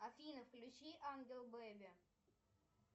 афина включи ангел бэби